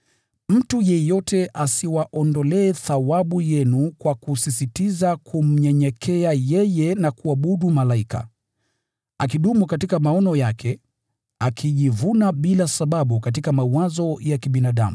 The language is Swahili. Mtu yeyote asiwaondolee thawabu yenu kwa kusisitiza kunyenyekea kwake na kuabudu malaika. Mtu kama huyo hudumu katika maono yake, akijivuna bila sababu katika mawazo ya kibinadamu.